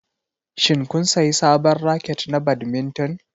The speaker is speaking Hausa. Shin kun sayi sabon raket na badminton?